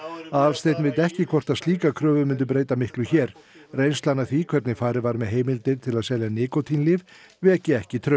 Aðalsteinn veit ekki hvort slíkar kröfur myndu breyta miklu hér reynslan af því hvernig farið var með heimildir til að selja nikótínlyf veki ekki traust